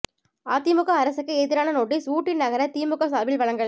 அதிமுக அரசுக்கு எதிரான நோட்டீஸ் ஊட்டி நகர திமுக சார்பில் வழங்கல்